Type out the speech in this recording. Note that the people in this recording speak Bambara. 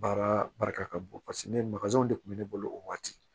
Baara barika ka bon paseke ne makazɛn de kun bɛ ne bolo o waati